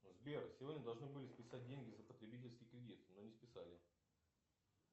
сбер сегодня должны были списать деньги за потребительский кредит но не списали